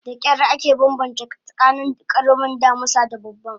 Dakyar ake banbance tsakanin karamin damisa da babban